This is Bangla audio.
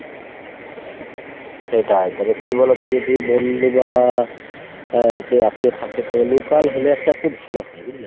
সেটাই। তবে কি বলোতো যদি বন্ধু বা আহ কেউ আত্মীয় থাকে তো local হলে একটা খুব ভালো হয় বুঝলে ?